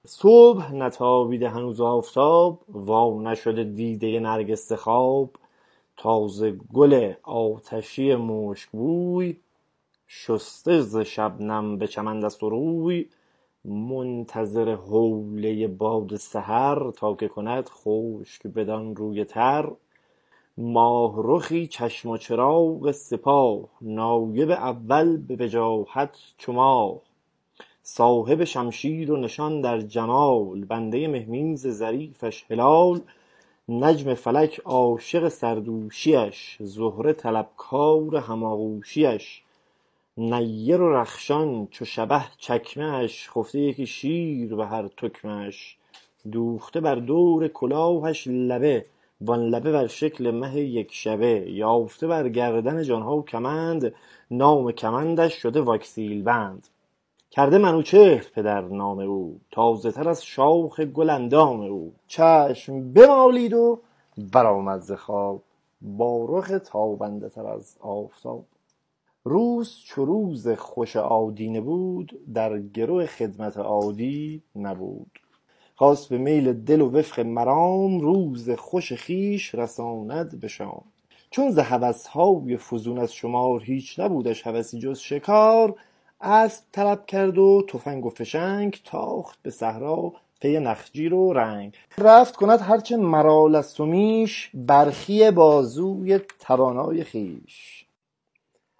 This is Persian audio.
صبح نتابیده هنوز آفتاب وانشده دیدۀ نرگس ز خواب تازه گل آتشی مشک بوی شسته ز شبنم به چمن دست و روی منتظر حولۀ باد سحر تا که کند خشک بدان روی تر ماه رخی چشم و چراغ سپاه نایب اول به وجاهت چو ماه صاحب شمشیر و نشان در جمال بندۀ مهمیز ظریفش هلال نجم فلک عاشق سردوشی اش زهره طلبکار هم آغوشی اش نیر و رخشان چو شبه چکمه اش خفته یکی شیر به هر تکمه اش دوخته بر دور کلاهش لبه وان لبه بر شکل مه یک شبه بافته بر گردن جان ها کمند نام کمندش شده واکسیل بند کرده منوچهر پدر نام او تازه تر از شاخ گل اندام او چشم بمالید و برآمد ز خواب با رخ تابنده تر از آفتاب روز چو روز خوش آدینه بود در گرو خدمت عادی نبود خواست به میل دل و وفق مرام روز خوش خویش رساند به شام چون ز هوس های فزون از شمار هیچ نبودش هوسی جز شکار اسب طلب کرد و تفنگ و فشنگ تاخت به صحرا پی نخجیر و رنگ رفت کند هرچه مرال است و میش برخی بازوی توانای خویش